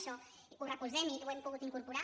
això ho recolzem i ho hem pogut incorporar